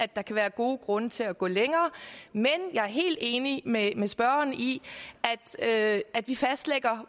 der kan være gode grunde til at gå længere men jeg er helt enig med med spørgeren i at at vi fastlægger